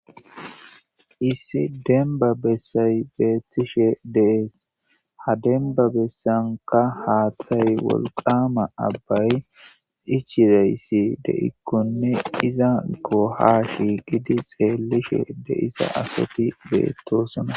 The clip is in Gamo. Issi demba bessay beettishe dees ha denba bessanka haaththay wolqama abbay ichireyssi deikkonne iza ko ha hiigidi xeellishe de isa asati beettosona